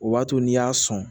O b'a to n'i y'a sɔn